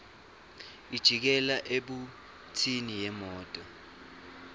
ijikela ebhuthini yemoto